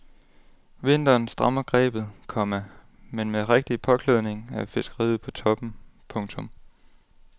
Vinteren strammer grebet, komma men med rigtig påklædning er fiskeriet på toppen. punktum